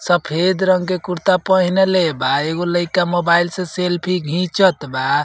सफ़ेद रंग के कुर्ता पहीनले बा। एगो लइका मोबाइल से सेल्फी घिचत बा।